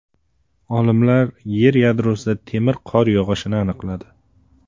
Olimlar Yer yadrosida temir qor yog‘ishini aniqladi.